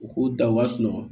U k'u da u ka sunɔgɔ